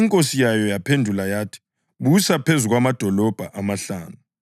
Inkosi yayo yaphendula yathi, ‘Busa phezu kwamadolobho amahlanu.’